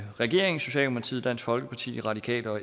regeringen socialdemokratiet dansk folkeparti radikale og